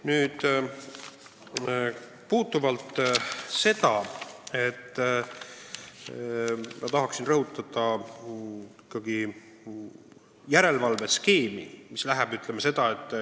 Nüüd, ma tahan ikkagi rõhutada järelevalveskeemi.